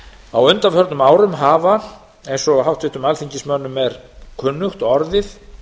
á undaförnum árum hafa eins og háttvirtum alþingismönnum er kunnugt orðið